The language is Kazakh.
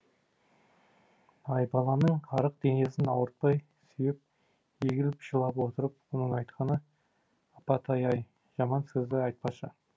айбаланың арық денесін ауыртпай сүйеп егіліп жылап отырып оның айтқаны апатай ай жаман сөзді айтпашы